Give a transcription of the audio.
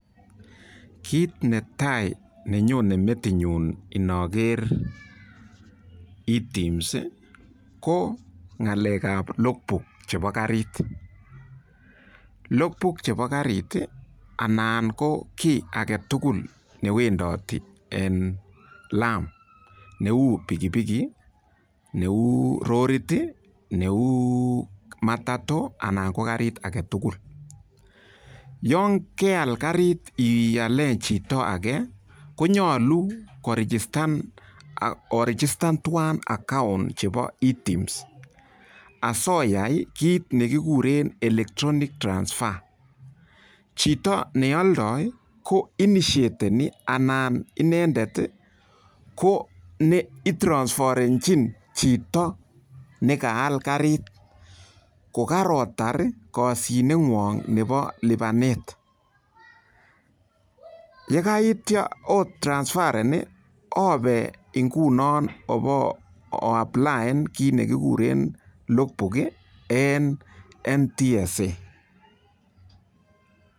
Kit netai nenyonei metinyu noger ITEMS, ko ng'alekab log book chebo karit. Log book chebo karit anan ko kiy age tugul newendoti eng lam neu pikipiki neu lorit neu matatu ana ko karit age tugul. Yon keal karit iale chito age kponyolu oregistern tuwai account chebo ITEMS asoyai kit nekigure electronics transfer. Chito neoldoi ko initiatani anan inendet ko ne itrasferenchin chito nekaal karit kokaotar koshineng'won'g nebo lipanet. Yekaitio o trasferen ope nguno obo o applian log book eng NTSA.